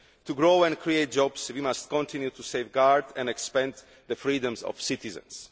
To grow and create jobs we must continue to safeguard and expand the freedoms of citizens.